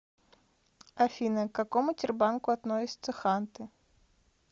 афина к какому тербанку относятся ханты